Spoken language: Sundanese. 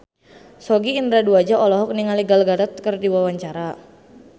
Sogi Indra Duaja olohok ningali Gal Gadot keur diwawancara